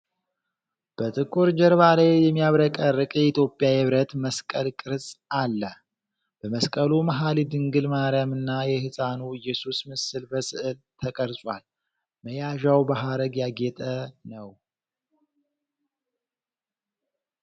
በጥቁር ጀርባ ላይ የሚያብረቀርቅ የኢትዮጵያ የብረት መስቀል ቅርጽ አለ። በመስቀሉ መሀል የድንግል ማርያምና የሕፃኑ ኢየሱስ ምስል በሥዕል ተቀርጿል። መያዣው በሐረግ ያጌጠ ነው።